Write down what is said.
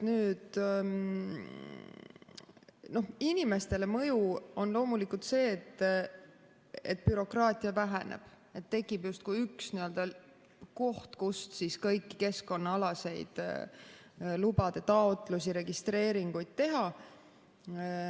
Inimestele on mõju loomulikult see, et bürokraatia väheneb, tekib justkui üks koht, kus kõiki keskkonnaalaseid lubade taotlusi, registreeringuid teha.